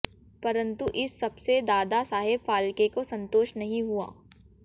परंतु इस सबसे दादा साहेब फाल्के को संतोष नहीं हुआ